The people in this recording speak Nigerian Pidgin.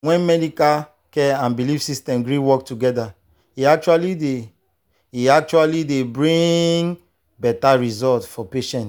when medical care and belief system gree work together e actually dey e actually dey bring better result for patients.